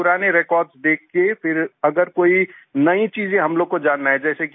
फिर पुराने रेकॉर्ड्स देख के फिर अगर कोई नई चीज़ें हम लोगों को जानना है